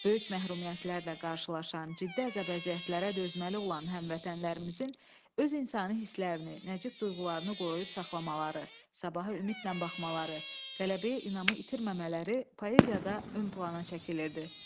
Böyük məhrumiyyətlərlə qarşılaşan, ciddi əzab-əziyyətlərə dözməli olan həmvətənlərimizin öz insani hisslərini, nəcib duyğularını qoruyub saxlamaları, sabaha ümidlə baxmaları, qələbəyə inamı itirməmələri poeziyada ön plana çəkilirdi.